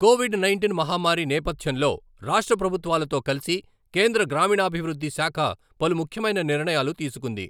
Covid nineteen మహమ్మారి నేపథ్యంలో రాష్ట్ర ప్రభుత్వాలతో కలిసి కేంద్ర గ్రామీణాభివృద్ధి శాఖ పలు ముఖ్యమైన నిర్ణయాలు తీసుకుంది.